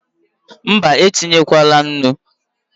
Mbá, etinyekwala nnu